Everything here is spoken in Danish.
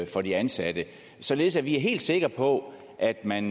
for de ansatte således at vi er helt sikre på at når man